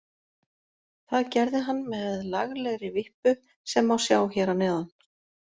Það gerði hann með laglegri vippu sem má sjá hér að neðan.